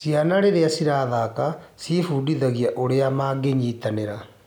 Ciana rĩrĩa cirathaka ciĩbundithagia ũrĩa mangĩnyitanĩra.